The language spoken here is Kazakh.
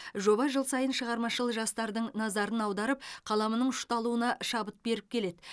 жоба жыл сайын шығармашыл жастардың назарын аударып қаламының ұшталуына шабыт беріп келеді